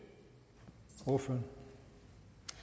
og